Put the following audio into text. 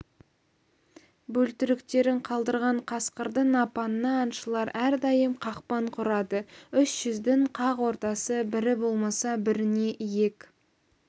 бөлтіріктерін қалдырған қасқырдың апанына аңшылар әрдайым қақпан құрады үш жүздің қақ ортасы бірі болмаса біріне иек